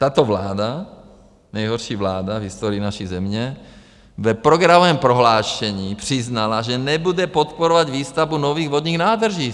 Tato vláda, nejhorší vláda v historii naší země, v programovém prohlášení přiznala, že nebude podporovat výstavbu nových vodních nádrží.